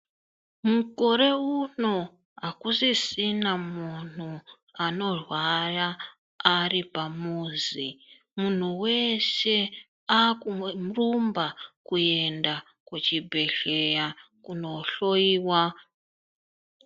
Mukore uno akusisina munhu anorwaya ari pamuzi munhu weshe akuyurumba kuchibhedhleya kunohloiwa.